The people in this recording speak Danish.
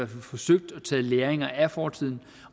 forsøgt at tage ved lære af fortiden